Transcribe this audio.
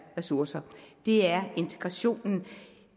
ressourcer det er integration